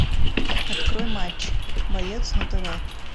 открой матч боец на тв